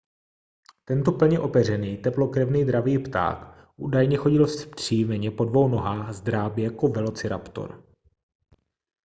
tento plně opeřený teplokrevný dravý pták údajně chodil vzpřímeně po dvou nohách s drápy jako velociraptor